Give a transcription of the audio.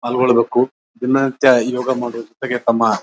ಪಾಲ್ಗೊಳಬೇಕು ದಿನಾಂತ ಯೋಗ ಮಾಡುವ ಜೊತೆಗೆ ತಮ್ಮ --